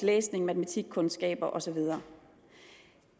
læsning matematikkundskaber og så videre